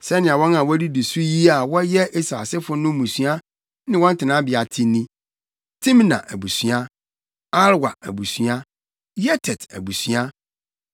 Sɛnea wɔn a wodidi so yi a wɔyɛ Esau asefo no mmusua ne wɔn tenabea te ni: Timna abusua, Alwa abusua, Yetet abusua,